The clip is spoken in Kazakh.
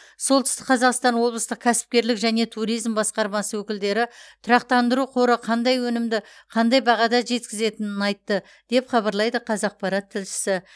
солтүстік қазақстан облыстық кәсіпкерлік және туризм басқармасы өкілдері тұрақтандыру қоры қандай өнімді қандай бағада жеткізетінін айтты деп хабарлайды қазақпарат тілшісі